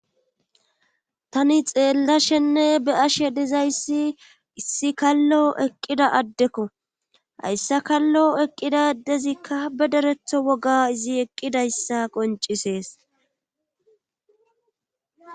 tani xeellashenne be ashe dizayssi issi kallo eqqida addekko hayssa kallo eqqida ddezikka be deretho woga izi eqqidayssa qoncisees